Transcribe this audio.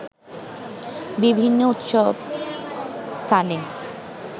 বিভিন্ন উৎসব স্থানে